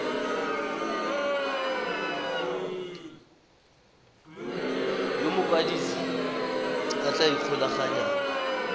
yo mokwadise a tla ikgolaganyang